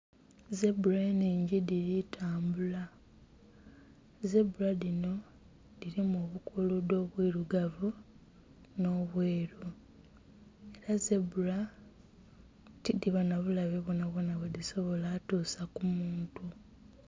Zebula enhingi dhili tambula, zebula dhinho, dhilimu obukuluudho bwilugavu nh'obweru. Ela zebula tidhiba nha bulabe bwonhabwonha bwedhisobala kutuusa ku muntu.